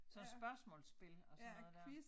Så spørgsmålsspil og sådan noget dér